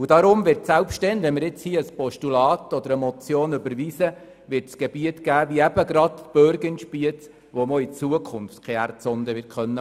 Wenn wir hier eine Motion oder ein Postulat überweisen, wird es Gebiete geben wie gerade die Bürg in Spiez, wo man auch in Zukunft keine Erdsonde legen kann.